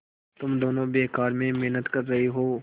तुम दोनों बेकार में मेहनत कर रहे हो